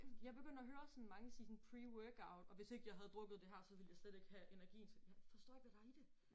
Jeg begynder at høre sådan mange sige sådan pre-workout og hvis ikke jeg havde drukket det her så ville jeg slet ikke have energien til forstår ikke hvad der i det